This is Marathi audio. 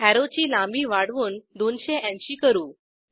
अॅरोची लांबी वाढवून 280 करू